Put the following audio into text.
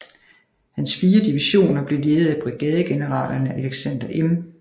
Hans 4 divisioner blev ledet af brigadegeneralerne Alexander M